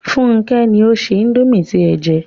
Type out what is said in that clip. Fúnkẹ́ ni ó se indomie tí ẹ jẹ